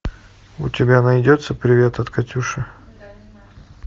у тебя найдется привет от катюши